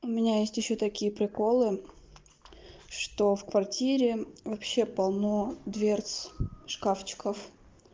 у меня есть ещё такие приколы что в квартире вообще полно дверц шкафчиков